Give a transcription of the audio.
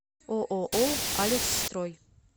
ооо алексстрой